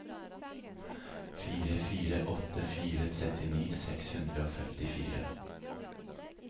fire fire åtte fire trettini seks hundre og femtifire